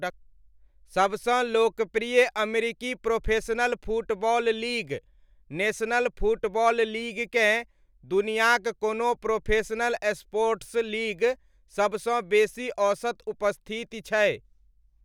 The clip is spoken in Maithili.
सबसँ लोकप्रिय अमेरिकी professional football league, national football लीगकेँ दुनियाक कोनो प्रोफेशनल स्पोर्ट्स लीग सबसँ बेसी औसत उपस्थिति छै।